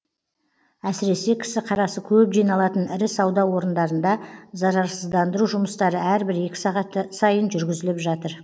әсіресе кісі қарасы көп жиналатын ірі сауда орындарында зарарсыздандыру жұмыстары әрбір екі сағат сайын жүргізіліп жатыр